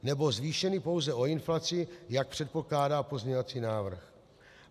Nebo zvýšeny pouze o inflaci, jak předpokládá pozměňovací návrh.